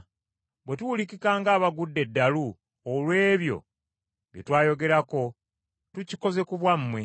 Bwe tuwulikika ng’abagudde eddalu olw’ebyo bye tweyogerako, tukikoze ku bwammwe.